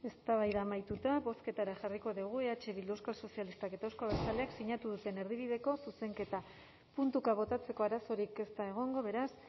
eztabaida amaituta bozketara jarriko dugu eh bildu euskal sozialistak eta euzko abertzaleak sinatu duten erdibideko zuzenketa puntuka botatzeko arazorik ez da egongo beraz